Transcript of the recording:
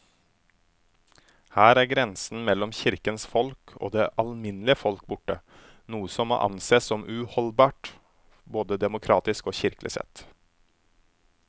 Her er grensen mellom kirkens folk og det alminnelige folk borte, noe som må ansees som uholdbart både demokratisk og kirkelig sett.